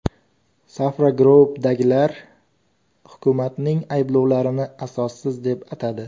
Safra Group’dagilar hukumatning ayblovlarini asossiz deb atadi.